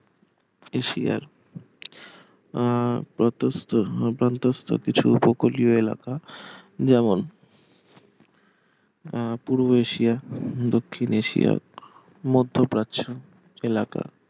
এশিয়ার আহ প্রতস্থ প্রান্তস্থ কিছু উপকূলীয় এলাকা যেমন আহ পূর্ব এশিয়া দক্ষিণ এশিয়া মধ্য প্রাচ্য এলাকা